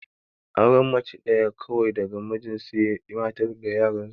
Auren mace ɗaya kawai daga mijin sai matar da yaran su